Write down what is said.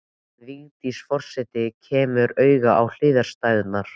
En Vigdís forseti kemur auga á hliðstæðurnar.